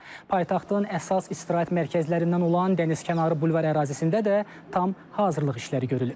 Paytaxtın əsas istirahət mərkəzlərindən olan Dənizkənarı bulvar ərazisində də tam hazırlıq işləri görülüb.